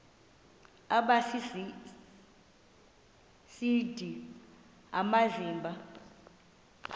aba sisidl amazimba